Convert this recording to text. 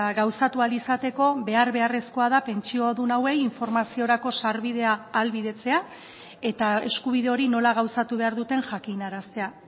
gauzatu ahal izateko behar beharrezkoa da pentsiodun hauei informaziorako sarbidea ahalbidetzea eta eskubide hori nola gauzatu behar duten jakinaraztea